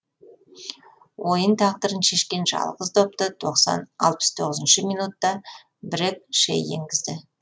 ойын тағдырын шешкен жалғыз допты алпыс тоғызыншы минутта брек шей енгізді